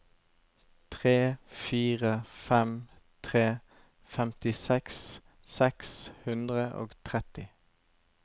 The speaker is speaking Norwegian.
tre fire fem tre femtiseks seks hundre og tretti